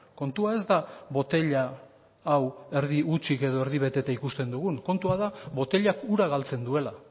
kontua ez da botila hau erdi hutsik edo erdi beteta ikusten dugun kontua da botilak ura galtzen duela